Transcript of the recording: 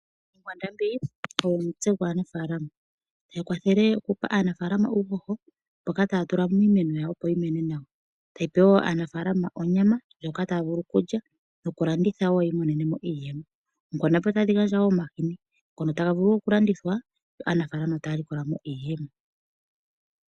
Oonkwandambi odho omutse gwaanafaalama .Oongombe ohadhipe aanafaalama uuhoho mboka taya tula miimeno opo yimene nawa. Ohadhi pe wo aanafalama onyama ndjoka taya vulu okulya nokulanditha yiimonenemo iiyemo, otadhi gandja wo omahini ngono taga vulu oku landithwa yo aanafaalama taya likolamo iiyemo.